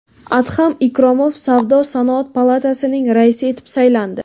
Adham Ikromov Savdo-sanoat palatasining raisi etib saylandi .